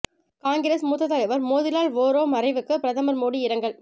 காங்கிரஸ் மூத்த தலைவர் மோதிலால் வோரா மறைவுக்கு பிரதமர் மோடி இரங்கல்